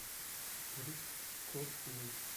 рыжковой